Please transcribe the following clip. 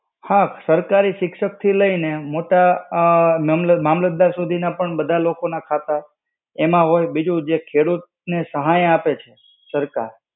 હા, સરકારી શિક્ષક થી લઇ ને મોટા ઉમમ, મામલતદાર સુધીના પણ બધા લોકો ના ખાતા એમાં હોય. બીજું જે ખેડૂત ને સહાય આપે છે, સરકાર